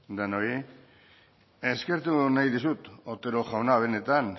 denoi eskertu nahi dizut otero jauna benetan